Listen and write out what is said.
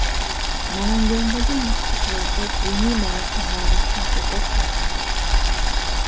Namangandagi masjidlarda diniy marosimlar vaqtincha to‘xtatildi.